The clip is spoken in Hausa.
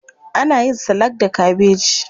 Ana yin salak da kabeji.